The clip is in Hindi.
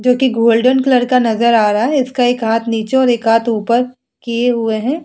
जो कि गोल्डन कलर का नज़र आ रहा है इसका एक हाथ नीचे और एक हाथ ऊपर किए हुए है ।